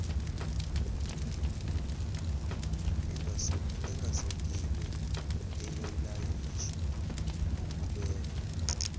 engasongiwe eyolayishwa ngokubekwa